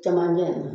Camancɛ in na